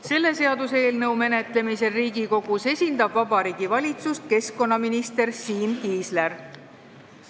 Selle seaduseelnõu menetlemisel Riigikogus esindab Vabariigi Valitsust keskkonnaminister Siim Kiisler.